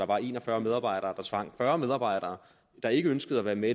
var en og fyrre medarbejdere der tvang fyrre medarbejdere der ikke ønskede at være med